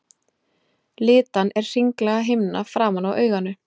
Litan er hringlaga himna framan á auganu.